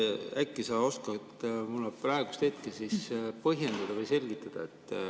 Äkki sa oskad mulle praegu põhjendada või selgitada.